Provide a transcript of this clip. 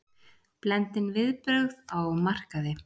Blendin viðbrögð á markaði